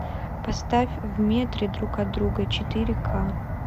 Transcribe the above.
поставь в метре друг от друга четыре ка